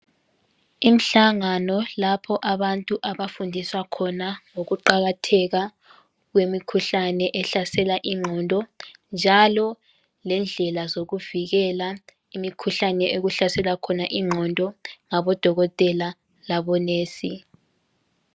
Imihlangano lapha abantu abafundiswa khona ukuqatheka kwemikhuhlane ehlasela ingqondo njalo lendlela zokuvikela imikhuhlane ehlasela ingqondo labodokotela labonesi.